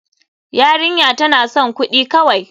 Yarinya tana son kudi kawai.